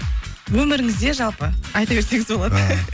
өміріңізде жалпы айта берсеңіз болады